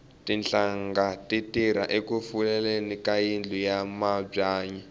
tinhlanga ti tirha eku fuleleni ka yindlu ya mabyanyi